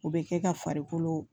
O bɛ kɛ ka farikolo